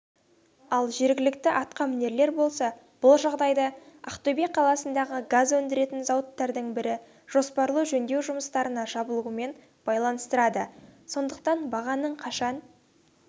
ал жергілікті атқа мінерлер болса бұл жағдайды ақтөбе қаласындағы газ өндіретін зауыттардың бірі жоспарлы жөндеу жұмыстарына жабылуымен байланыстырады сондықтан бағаның қашан